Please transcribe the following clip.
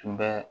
Tun bɛ